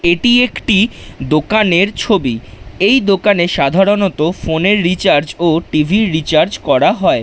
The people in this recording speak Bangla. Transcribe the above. এটি একটি দোকানের ছবি এই দোকানে সাধারণত ফোন - এর রিচার্জ ও টি. ভি. - র রিচার্জ করা হয়।